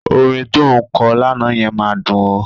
Orin tó ń kọ lánàá yẹn máa dùn ó.